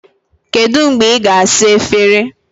Kedu mgbe ị ga-asa efere?